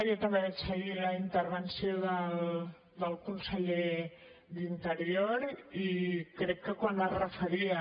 jo també vaig seguir la intervenció del conseller d’interior i crec que quan es referia